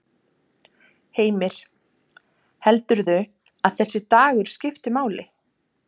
Heimir: Heldurðu að þessi dagur skipti máli?